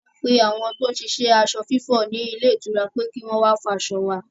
A pe àwọn tó ń ṣiṣẹ́ aṣọ fífọ̀ ní ilé ìtura pé kọ́ wá fọ aṣọ wa